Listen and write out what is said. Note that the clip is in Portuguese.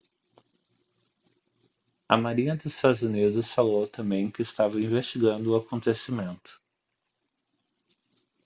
a marinha dos estados unidos falou também que estava investigando o acontecimento